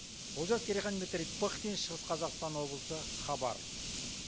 олжас керейхан дмитрий пыхтин шығыс қазақстан облысы хабар